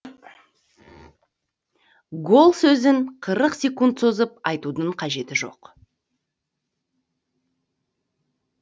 гол сөзін қырық секунд созып айтудың қажеті жоқ